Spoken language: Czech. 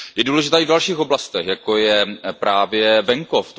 Je důležitá i v dalších oblastech, jako je právě venkov.